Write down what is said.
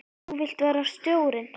Þú vilt vera stjórinn?